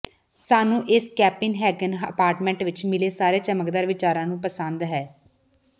ਸਾਨੂੰ ਇਸ Copenhagen apartment ਵਿੱਚ ਮਿਲੇ ਸਾਰੇ ਚਮਕਦਾਰ ਵਿਚਾਰਾਂ ਨੂੰ ਪਸੰਦ ਹੈ